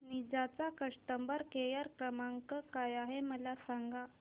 Ninja चा customer care क्रमांक काय आहे मला सांगा